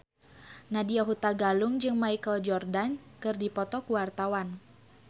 Nadya Hutagalung jeung Michael Jordan keur dipoto ku wartawan